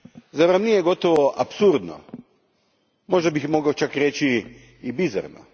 Zar vam nije gotovo apsurdno, možda bih mogao čak reći i bizarno?